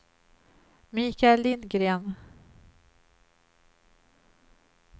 Mikael Lindgren